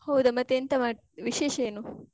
ಹೌದ. ಮತ್ತೆ ಎಂತ ಮಾಡ್, ವಿಶೇಷ ಏನು?